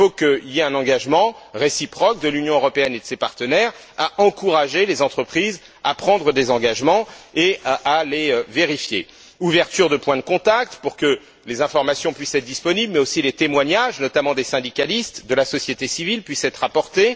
D'abord, il faut qu'il y ait un engagement réciproque de l'Union européenne et de ses partenaires à encourager les entreprises à prendre des engagements et à les vérifier ouverture de points de contacts, pour que les informations puissent être disponibles, mais aussi pour que les témoignages, notamment des syndicalistes et de la société civile, puissent être apportés